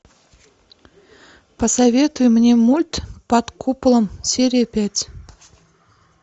посоветуй мне мульт под куполом серия пять